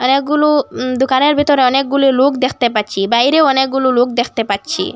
এগুলু উম দুকানের ভিতরে অনেকগুলু লুক দেখতে পাচ্চি বাইরেও অনেকগুলু লুক দেখতে পাচ্চি।